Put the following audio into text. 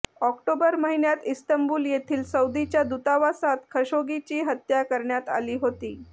October महिन्यात Istanbul येथील सौदीच्या दूतावासात खशोगीची हत्या करण्यात आली होती